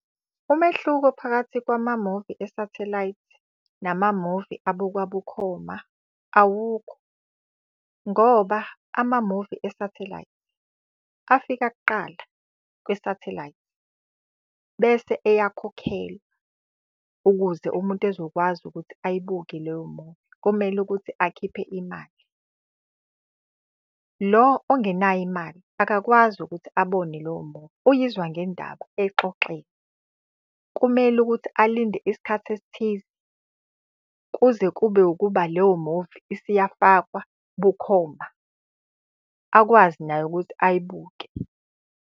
Umehluko phakathi kwamamuvi esathelayithi namamuvi abukwa bukhoma awukho. Ngoba amamuvi esathelayithi afika kuqala kwisathelayithi, bese eyakhokhelwa ukuze umuntu ezokwazi ukuthi ayibuke leyo muvi, kumele ukuthi akhiphe imali. Lo ongenayo imali akakwazi ukuthi abone leyo muvi uyizwa ngendaba eyixoxelwa. Kumele ukuthi alinde isikhathi esithize kuze kube ukuba leyo muvi isiyafakwa bukhoma, akwazi naye ukuthi ayibuke.